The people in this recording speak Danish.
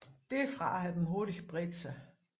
Derfra har den hurtigt bredt sig